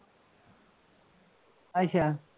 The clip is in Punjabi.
ਅੱਛਾ